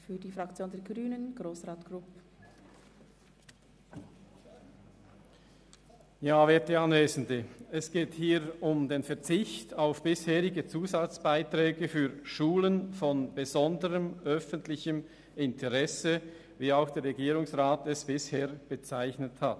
Es geht hier um den Verzicht auf bisherige Zusatzbeiträge für Schulen von besonderem öffentlichem Interesse, wie sie auch der Regierungsrat bisher bezeichnet hat.